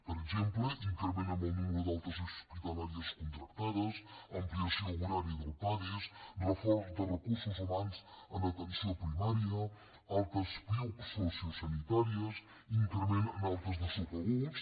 per exemple increment en el número d’altes hospitalàries contractades ampliació horària del pades reforç de recursos humans en atenció primària altes piuc sociosanitàries increment en altes de subaguts